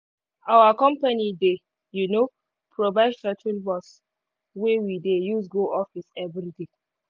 our company dey um provide shuttle bus wey we dey use go office every day